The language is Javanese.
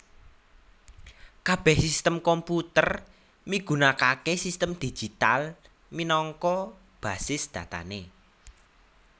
Kabèh sistem komputer migunakaké sistem digital minangka basis datané